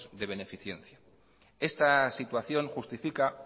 de beneficencia esta situación justifica